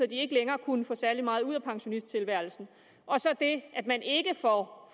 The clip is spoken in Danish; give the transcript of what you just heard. de ikke længere kunne få særlig meget ud af pensionisttilværelsen og så det at man ikke får